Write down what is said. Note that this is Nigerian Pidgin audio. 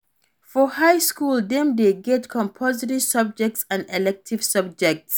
For high school dem de get compulsory subjects and elective subjects